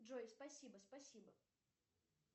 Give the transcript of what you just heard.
джой спасибо спасибо